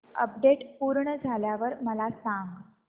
update पूर्ण झाल्यावर मला सांग